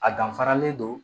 A danfaralen don